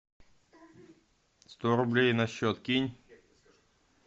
сто рублей на счет кинь